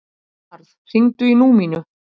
Vernharð, hringdu í Númínu.